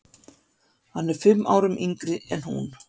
Hann er fimm árum yngri en hún.